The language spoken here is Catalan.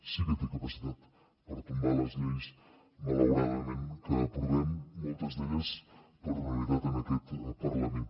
sí que té capacitat per tombar les lleis malauradament que aprovem moltes d’elles per unanimitat en aquest parlament